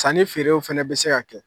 Sannifeerew fana bɛ se ka kɛ.